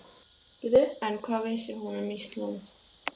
En hvað vissi hún um Ísland?